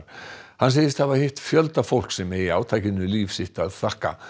hann segist hafa hitt fjölda fólks sem eigi átakinu líf sitt að þakka